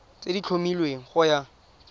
tse di tlhomilweng go ya